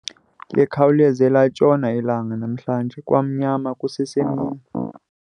Likhawuleze latshona ilanga namhlanje kwamnyama kusesemini.